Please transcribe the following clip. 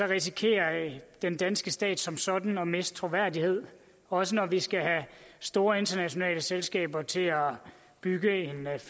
risikerer den danske stat som sådan at miste troværdighed også når vi skal have store internationale selskaber til at bygge